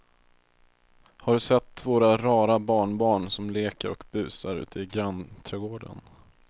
Har du sett våra rara barnbarn som leker och busar ute i grannträdgården!